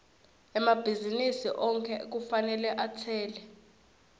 emabhizinisi onkhe kufanele atsele